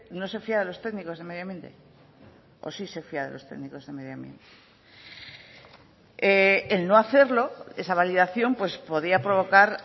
no se fía de los técnicos de medio ambiente o sí se fía de los técnicos de medio ambiente el no hacerlo esa validación podría provocar